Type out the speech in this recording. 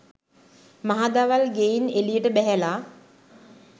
මහදවල් ගෙයින් එළියට බැහැලා